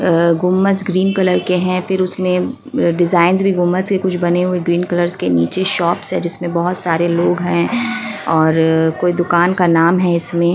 अ गुमज green colour के है फिर उसमें डिजाइंस भी गुमज के कुछ बने हुए ग्रीन कलर्स के नीचे शॉप्स है जिसमें बहोत सारे लोग है और कोई दुकान का नाम है इसमें।